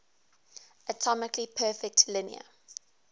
atomically perfect linear